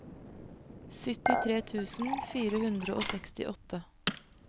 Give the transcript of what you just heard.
syttitre tusen fire hundre og sekstiåtte